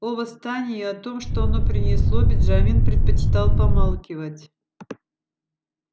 о восстании и о том что оно принесло бенджамин предпочитал помалкивать